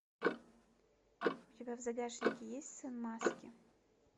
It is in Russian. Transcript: у тебя в загашнике есть сын маски